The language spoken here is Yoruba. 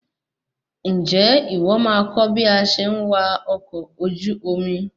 Ǹjẹ́ ìwọ máa kọ́ bí a ṣe ń wa ọkọ ojú omi?